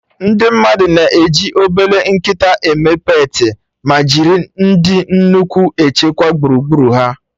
Ndị mmadụ na-eji obele nkịta eme peetị, ma jiri ndị nnukwu echekwa gburugburu ha